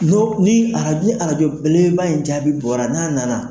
No ni arajo arajo belebele ba in jaabi bɔra n'a nana.